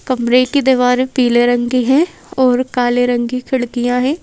कमरे की दीवारें पीले रंग की हैं और काले रंग की खिड़कियां हैं।